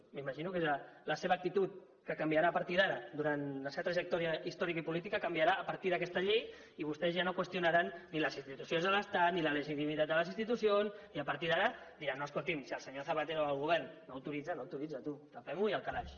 m’imagino que la seva actitud que canviarà a partir d’ara durant la seva trajectòria històrica i política canviarà a partir d’aquesta llei i vostès ja no qüestionaran ni les institucions de l’estat ni la legitimitat de les institucions i a partir d’ara diran no escoltin si el senyor zapatero o el govern no ho autoritzen no ho autoritzen tu tapemho i al calaix